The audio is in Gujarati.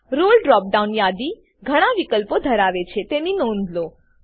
રોલે ડ્રોપ ડાઉન યાદી ઘણા વિકલ્પો ધરાવે છે તેની નોધ લો